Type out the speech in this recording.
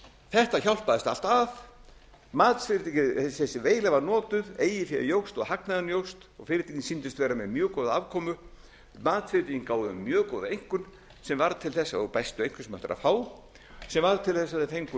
þetta hjálpaðist allt að matsfyrirtækin þessi veila var notuð eigið fé jókst og hagnaðurinn jókst og fyrirtækin sýndust vera með mjög góða afkomu matsfyrirtækin gáfu þeim mjög góða einkunn sem varð til þess og bestu einkunn sem hægt er að fá sem varð til þess að þau fengu